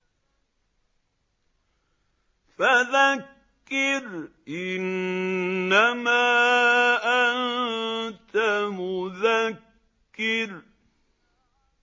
فَذَكِّرْ إِنَّمَا أَنتَ مُذَكِّرٌ